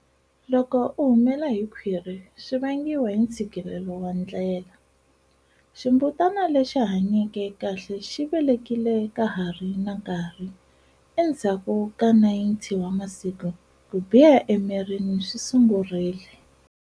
Loko ku humela hi khwiri swi vangiwa hi ntshikilelo wa ndlela, ximbutana lexi hanyeke kahle xi velekile ka ha ri na nkarhi, endzhaku ka 90 wa masiku ku biha emirini swi sungurile.